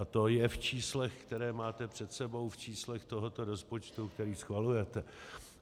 A to je v číslech, která máte před sebou, v číslech tohoto rozpočtu, který schvalujete.